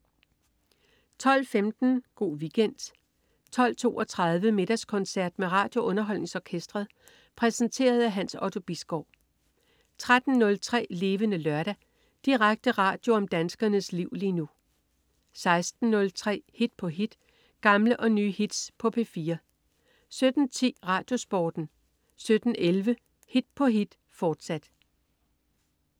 12.15 Go' Weekend 12.32 Middagskoncert med RadioUnderholdningsOrkestret. Præsenteret af Hans Otto Bisgaard 13.03 Levende Lørdag. Direkte radio om danskernes liv lige nu 16.03 Hit på hit. Gamle og nye hits på P4 17.10 RadioSporten 17.11 Hit på hit, fortsat